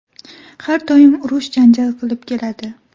Har doim urush-janjal qilib keladi.